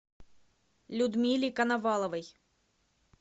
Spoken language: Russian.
людмиле коноваловой